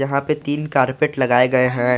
यहां पे तीन कारपेट लगाए गए हैं।